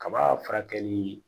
Kaba furakɛli